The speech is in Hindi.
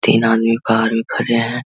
तीन अदमी बाहार हि खड़े हैं।